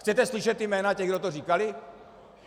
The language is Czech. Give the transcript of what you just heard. Chcete slyšet jména těch, kdo to říkali?